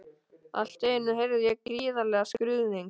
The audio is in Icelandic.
Allt í einu heyrði ég gríðarlegan skruðning.